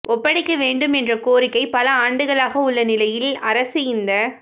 ஒப்படைக்க வேண்டும் என்ற கோரிக்கை பல ஆண்டுகளாக உள்ள நிலையில் அரசு இந்த